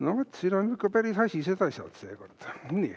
No vot, siin on ikka päris asised asjad seekord.